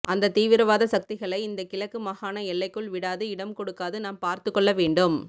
அந்த தீவிர வாத சக்திகளை இந்த கிழக்கு மாகாண எல்லைக்குள் விடாது இடம் கொடுக்காது நாம் பார்த்துக் கொள்ள வேண்டும்